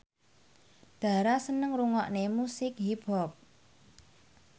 Dara seneng ngrungokne musik hip hop